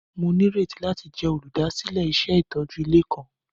Mo nírètí láti jẹ olúdásílẹ̀ iṣẹ itójú ilé kan.